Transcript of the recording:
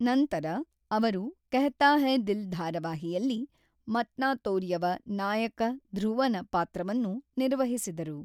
ನಂತರ, ಅವರು ಕೆಹ್ತಾ ಹೈ ದಿಲ್ ಧಾರಾವಾಹಿಯಲ್ಲಿ ಮತ್ನಾತೋರ್ಯವ ನಾಯಕ ಧ್ರುವನ ಪಾತ್ರವನ್ನು ನಿರ್ವಹಿಸಿದರು.